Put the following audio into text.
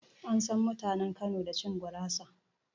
An san mutanen Kano da cin gurasa